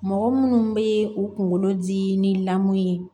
Mɔgɔ munnu be u kunkolo dimi ni lamu ye